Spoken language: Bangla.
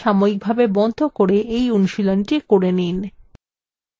এই tutorial সাময়িকভাবে বন্ধ করে এই অনুশীলনীটি করে নিন